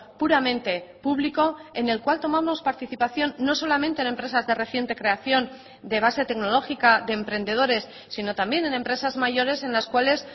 puramente público en el cual tomamos participación no solamente en empresas de reciente creación de base tecnológica de emprendedores sino también en empresas mayores en las cuales